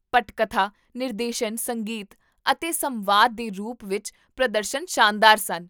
ਪਟਕਥਾ, ਨਿਰਦੇਸ਼ਨ, ਸੰਗੀਤ ਅਤੇ ਸੰਵਾਦ ਦੇ ਰੂਪ ਵਿੱਚ ਪ੍ਰਦਰਸ਼ਨ ਸ਼ਾਨਦਾਰ ਸਨ